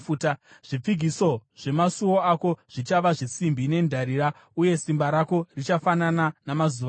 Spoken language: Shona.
Zvipfigiso zvemasuo ako zvichava zvesimbi nendarira, uye simba rako richafanana namazuva ako.